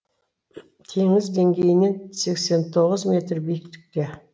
теңіз деңгейінен сексен тоғыз метр биіктікте